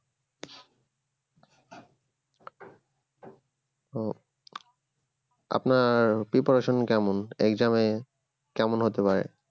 ও আপনার preparation কেমন exam এ কেমন হতে পারে